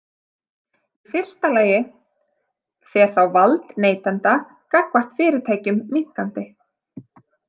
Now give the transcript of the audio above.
Í fyrsta lagi fer þá vald neytenda gagnvart fyrirtækjum minnkandi.